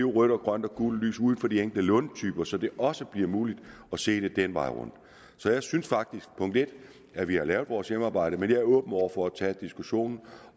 rødt og grønt og gult lys ud for de enkelte lånetyper så det også bliver muligt at se det den vej rundt så jeg synes faktisk at vi har lavet vores hjemmearbejde men jeg er åben over for at tage diskussionen